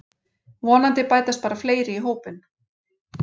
Vonandi bætast bara fleiri í hópinn